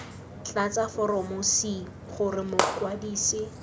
tlatsa foromo c gore mokwadise